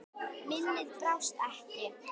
Minnið brást ekki.